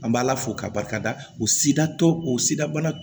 An b'ala fo k'a barikada o sida tɔ o sida bana